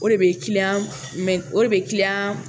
O de bɛ mɛn o de bɛ